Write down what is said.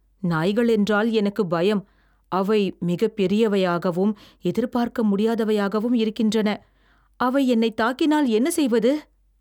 நாய்களென்றால் எனக்குப் பயம், அவை மிகப் பெரியவையாகவும், எதிர்பார்க்க முடியாதவையாகவும் இருக்கின்றன. அவை என்னைத் தாக்கினால் என்ன செய்வது?